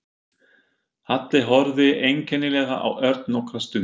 Halli horfði einkennilega á Örn nokkra stund.